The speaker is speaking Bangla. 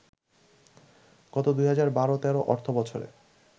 গত ২০১২-১৩ অর্থবছরে